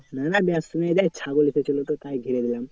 না ব্যস্ত নেই রে ছাগল ঢুকেছিলো তো তাই ঘিরে দিলাম।